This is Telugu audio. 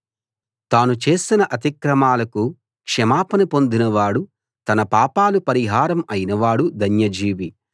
తాను చేసిన అతిక్రమాలకు క్షమాపణ పొందినవాడు తన పాపాలు పరిహారం అయినవాడు ధన్యజీవి